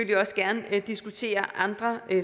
gerne diskutere andre